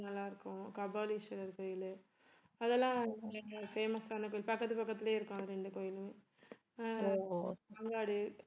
ஆஹ் நல்லா இருக்கோம் கபாலீஸ்வரர் கோயிலு அதெல்லாம் நல்ல famous ஆன கோயில் பக்கத்து பக்கத்திலேயே இருக்கும் அது இரண்டு கோயிலும் ஆஹ் மாங்காடு